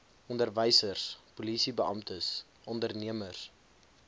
onderwysers polisiebeamptes ondernemers